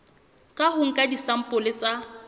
ka ho nka disampole tsa